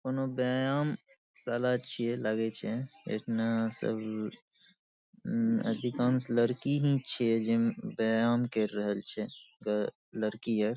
कोनो व्याम शाला छीये लगय छै इतना सब उम अधिकांश लड़की ही छीयेजे व्यायाम कर रहल छै लड़की आर --